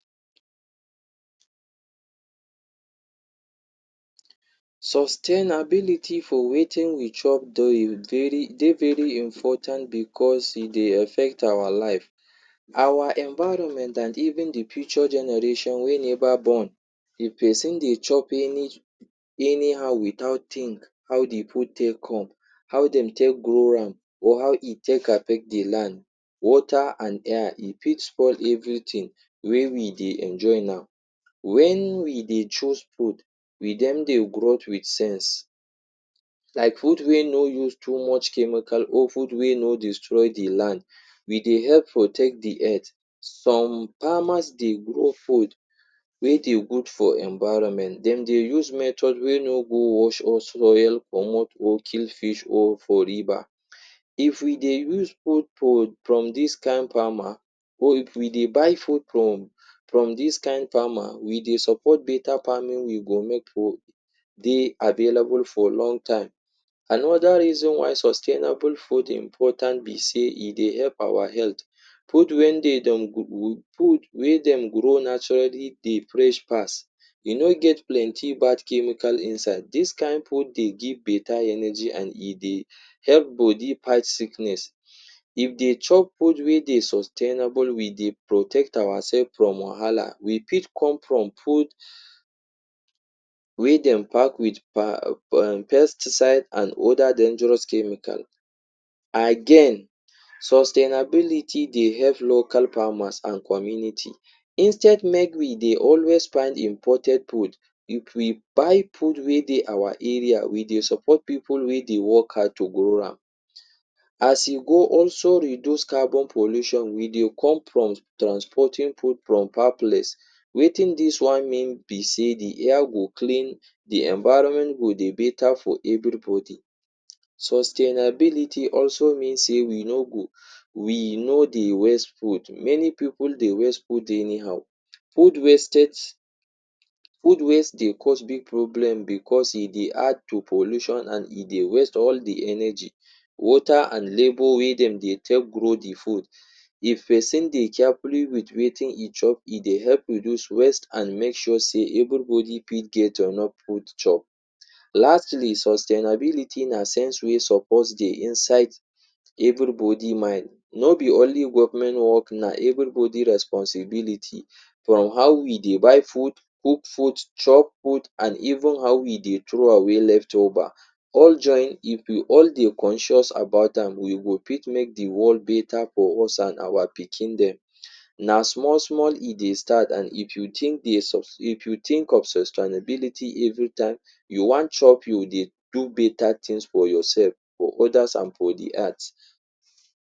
Sustainability for wetin we chop daily daily dey very important because e dey affect our life, our environment and even the future generation wey never born. If pesin dey chop any anyhow without think how the food take come, how dem take grow am or how e take affect the land, water and air, e fit spoil everything, wey we dey enjoy now. When we dey choose food, we don dey grow with sense. Like food wey no use too much chemical or food wey no destroy the land. We dey help protect the earth. Some farmers dey grow food, wey dey good for environment. De dey use method we no go wash or spoil, comot or kill fish or for river. If we dey use food from from dis kind farmer or if we dey buy food from from dis kind farmer, we dey support better farming. We go make food dey available for long time. Another reason why sustainable food important be say, e dey help our health. um Food when they dem food wey dem grow naturally dey fresh pass. E no get plenty bad chemical inside. Dis kind food dey give better energy and e dey help body fight sickness. If they chop food wey dey sustainable, we dey protect ourselves from wahala. We pick corn from food wey dem pack with um pesticide and other dangerous chemical. Again, sustainability dey help local farmers and community. Instead make we dey always find imported food, If we buy food wey dey our area, we dey support pipu wey dey work hard to grow am. As e go also reduce carbon pollution, we dey come from trans transporting food from far place. Wetin dis one mean be say, the air go clean, the environment go dey better for everybody. Sustainability also mean sey, we no go, we no dey waste food. Many pipu dey waste food anyhow. Food wastage food waste dey cause big problem because e dey add to pollution and e dey waste all the energy, water and labour wey dem dey take grow the food. If pesin dey carefully with wetin e chop, e dey help reduce waste and make sure sey, everybody fit get enough food chop. Lastly, sustainability na sense wey suppose dey inside everybody mind. No be only government work, na everybody responsibility. From how we dey buy food, cook food, chop food and even how we dey throw away leftover. All join, if we all dey conscious about am, we will fit make the world better for us and our pikin dem. Na small small e dey start and if you think if you think of sustainability every time you want chop, you dey do better things for yourself, for others and for the earth.